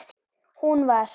Hún var